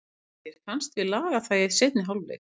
En mér fannst við laga það í seinni hálfleik.